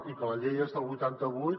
i que la llei és del vuitanta vuit